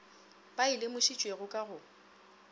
ba e lemošitšwego ka go